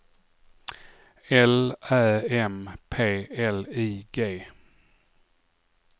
L Ä M P L I G